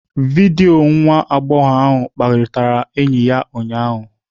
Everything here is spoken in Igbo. Vidio nwa agbọghọ ahụ kparịtara enyi ya ụnyaahụ.